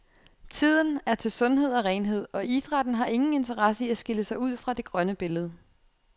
Tiden er til sundhed og renhed, og idrætten har ingen interesse i at skille sig ud fra det grønne billede.